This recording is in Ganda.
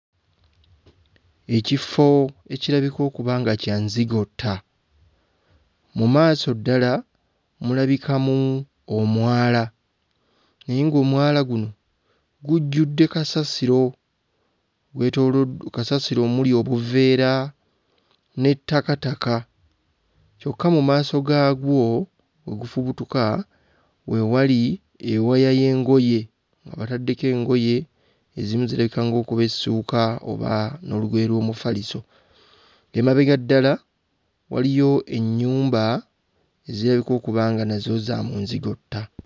Ekifo ekirabika okuba nga kya nzigotta. Mu maaso ddala mulabikamu omwala naye ng'omwala guno gujjudde kasasiro, gwetoolo... kasasiro omuli obuveera n'ettakataka kyokka mu maaso gaagwo we gufubuttuka we wali ewaya y'engoye nga bataddeko engoye; ezimu zirabikanga okuba essuuka oba n'olugoye lw'omufaliso, emabega ddala waliyo ennyumba ezirabika okuba nga nazo za mu nzigotta.